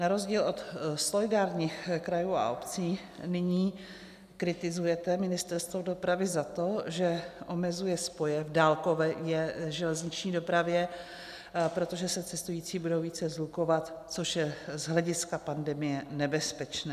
Na rozdíl od solidárních krajů a obcí nyní kritizujete Ministerstvo dopravy za to, že omezuje spoje v dálkové železniční dopravě, protože se cestující budou více shlukovat, což je z hlediska pandemie nebezpečné.